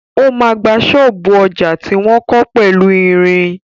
O ma gba ṣọ́ọ̀bú ọjà tí wọ́n kọ́ pẹ̀lú ìrìn.